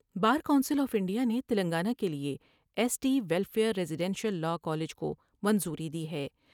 Bar Council of India نے تلنگانہ کے لئے S T welfare residential law college کو منظوری دی ہے ۔